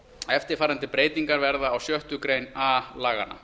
eftirfarandi breytingar verða á sjöttu grein a laganna